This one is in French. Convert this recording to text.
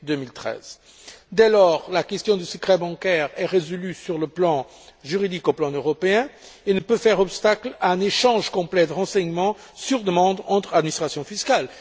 2013. Dès lors, la question du secret bancaire est résolue sur le plan juridique au niveau européen et ne peut faire obstacle à un échange complet de renseignements sur demande entre administrations fiscales.